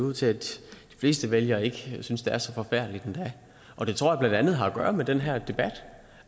ud til at de fleste vælgere ikke synes det er så forfærdeligt endda og det tror jeg blandt andet har at gøre med den her debat